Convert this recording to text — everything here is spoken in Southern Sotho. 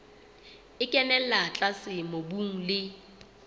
e kenella tlase mobung le